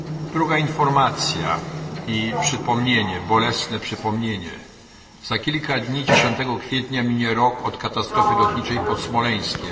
Druga informacja i jednocześnie bolesne przypomnienie za kilka dni, 10 kwietnia mija rok od katastrofy lotniczej pod Smoleńskiem.